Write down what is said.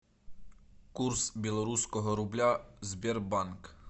курс белорусского рубля сбербанк